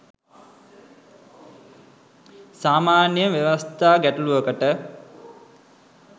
සාමාන්‍යයෙන් ව්‍යවස්ථා ගැටලූවකට